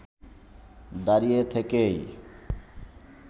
দাঁড়িয়ে থেকেই